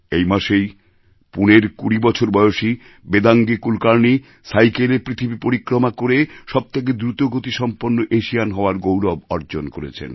এই মাসেই পুনের কুড়ি বছর বয়সী বেদাঙ্গী কুলকার্ণি সাইকেলে পৃথিবী পরিক্রমা করে সবথেকে দ্রুতগতি সম্পন্ন এশিয়ান হওয়ার গৌরব অর্জন করেছেন